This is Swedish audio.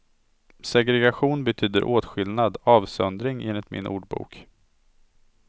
Segregation betyder åtskillnad, avsöndring enligt min ordbok.